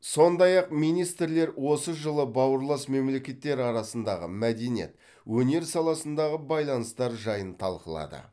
сондай ақ министрлер осы жылы бауырлас мемлекеттер арасындағы мәдениет өнер саласындағы байланыстар жайын талқылады